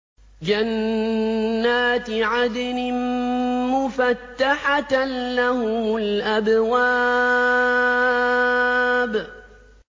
جَنَّاتِ عَدْنٍ مُّفَتَّحَةً لَّهُمُ الْأَبْوَابُ